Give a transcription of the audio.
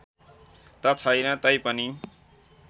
त छैन तैपनि